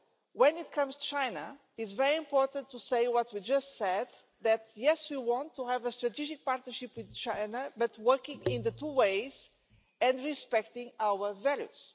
When it comes to China, it is very important to say as we just said that we want to have a strategic partnership with China, but working in both directions and respecting our values.